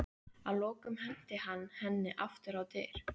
Að lokum henti hann henni aftur á dyr.